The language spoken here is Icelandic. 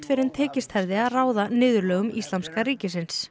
fyrr en tekist hefði að ráða niðurlögum Íslamska ríkisins